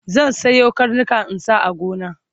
zan Sayo karnika in sa a gona